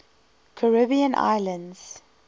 caribbean islands